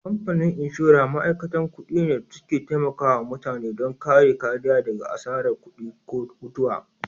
Kamfanin inshora ma'aikata kuɗi ne da suke taimakawa mutane don kare kariya daga asarar kuɗi ko mutuwa.